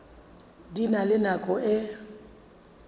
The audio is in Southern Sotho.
di na le nako e